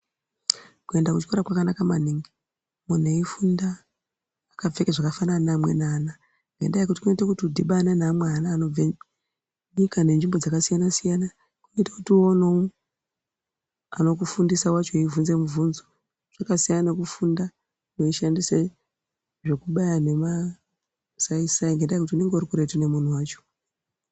Kuenda kuchikora kwakanaka maningi munhu eifunda akapfeka zvakafanana nevamweni ana ngenyaya yekuti kunoita kuti udhibane neamweni ana anobve nyika nenzvimbo dzakasiyana siyana kunoita kuti uonewo anokufundisa wacho weivhunze muvhunzo zvakasiyana nekufunda weishandise zvekubaya nemasaisai ngenyaya yekuti unenge urikuretu ngemunhu wacho.